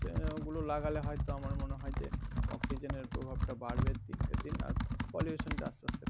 ওগুলো লাগালে হয় তো আমার মনে হয় যে অক্সিজেন এর প্রভাব টা বাড়বে দিনকে দিন আর pollution টা আস্তে আস্তে.